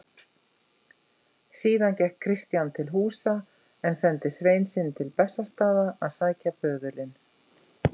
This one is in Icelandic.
Síðan gekk Christian til húsa en sendi svein sinn til Bessastaða að sækja böðulinn.